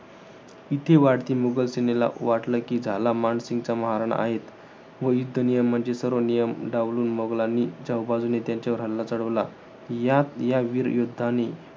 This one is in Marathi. इथे मुघल सैनिकांना वाटले कि, झाला मानसिंगचा महाराणा आहेच. व युद्ध नियमांचे सर्व नियम डावलून मुघालंनी चहुबाजूने त्यांच्यावर हल्ला चढवला. यात या वीर योद्धानी,